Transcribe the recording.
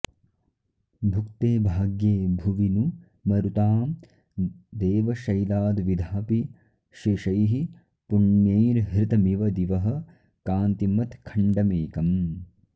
भुक्ते भाग्ये भुवि नु मरुतां देवशैलाद्विधाऽपि शेषैः पुण्यैर्हृतमिव दिवः कान्तिमत्खण्डमेकम्